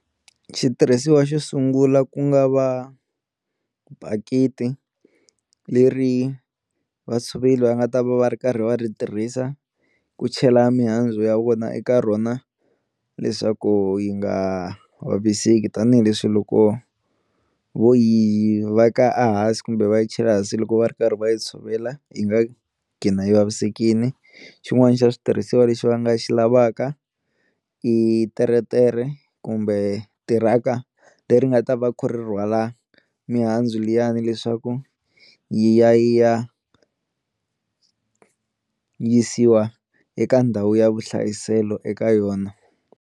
Xitirhisiwa xo sungula ku nga va bakiti leri vatshoveri va nga ta va va ri karhi va ri tirhisa ku chela mihandzu ya vona eka rona leswaku yi nga vaviseki tanihileswi loko vo yi veka a hansi kumbe va yi chela hansi loko va ri karhi va yi tshovela yi nga gcina yi vavisekini, xin'wana xa xitirhisiwa lexi va nga xi lavaka i teretere kumbe tiraka leri nga ta va ri rhwala mihandzu liyani leswaku yi ya yi ya yisiwa eka ndhawu ya vuhlayiselo eka yona.